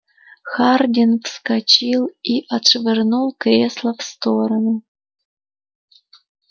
хардин вскочил и отшвырнул кресло в сторону